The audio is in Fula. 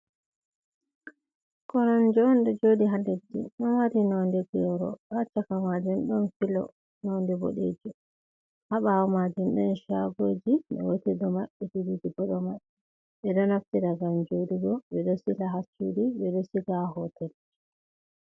Koromje on ɗo joɗi ha ledi ɗon mari nonde byoro ɗo haccaka majun ɗon filo nonde boɗeji haɓawo majun ɗon chagoji gotel ɗo maɓɓiti ɗiɗi bo ɗo maɓɓi, ɓe ɗo naftira ngam joɗugo ɓeɗo sila ha ccuɗi ɓe ɗo sila ha hotel ji.